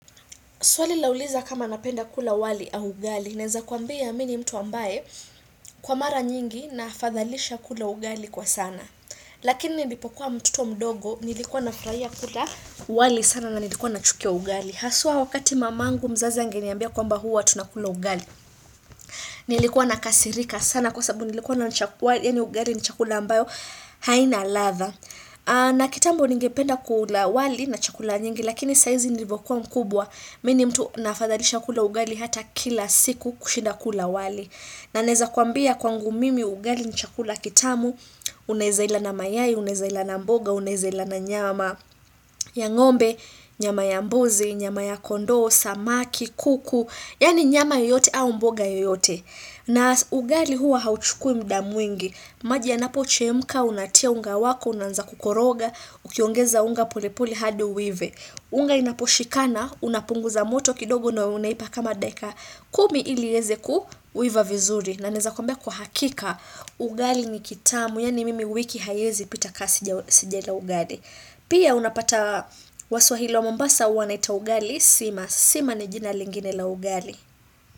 Swali lauliza kama napenda kula wali au ugali. Naeza kuambia mi nimtu ambaye kwa mara nyingi na fathalisha kula ugali kwa sana. Lakini nilipokuwa mtoto mdogo nilikuwa na furahia kula wali sana na nilikuwa nachukia ugali. Haswa wakati mamangu mzazi angeniambia kwamba huwa tunakula ugali. Nilikuwa nakasirika sana kwa sababu nilikuwa naona kuwa ugali ni chakula ambayo haina ladha. Na kitambo nigependa kula wali na chakula nyingi lakini saizi nilivokuwa mkubwa. Mi nimtu nafadhalisha kula ugali hata kila siku kushinda kula wali. Na naeza kuambia kwangu mimi ugali ni chakula kitamu, unaeza ila na mayai, unaeza ila na mboga, unaeza ila na nyama ya ng'ombe, nyama ya mbuzi, nyama ya kondoo, samaki, kuku, yani nyama yoyote au mboga yoyote. Na ugali huwa hauchukui muda mwingi. Maji yanapo chemka, unatia unga wako, unaanza kukoroga, ukiongeza unga polepole hadi uive. Unga inapo shikana, unapunguza moto kidogo na unaipa kama dakika. Kumi ili ieze kuiva vizuri. Na naeza kuambia kwa hakika, ugali ni kitamu, yani mimi wiki hayezi pita ka sijala ugali. Pia unapata waswahili wa mombasa wanaita ugali, sima. Sima ni jina lingine la ugali.